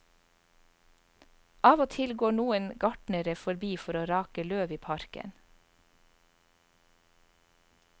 Av og til går noen gartnere forbi for å rake løv i parken.